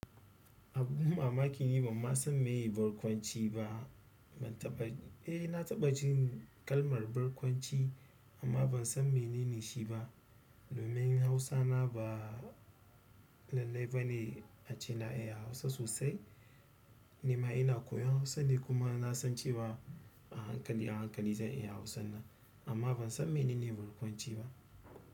Abun mamaki ne ban ma san meye barkwanci ba. Ban taɓa, eh na taɓa jin kalmar barkwanci amma ban san meye shi ba. Domin hausana ba lallai ba ne ace na iya Hausa sosai. Ni ma ina koyon Hausa ne kuma na san cewa a hankali, a hankali zan iya Hausa na. Amma ban san menene barkwanci ba.